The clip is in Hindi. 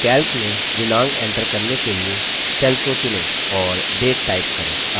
calc में दिनांक एन्टर करने के लिए cell को चुनें और date type करें